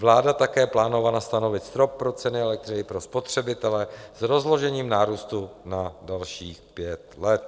Vláda také plánovala stanovit strop pro ceny elektřiny pro spotřebitele s rozložením nárůstu na dalších pět let.